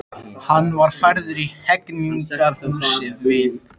Hann var færður í Hegningarhúsið við